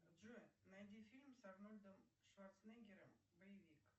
джой найди фильм с арнольдом шварценеггером боевик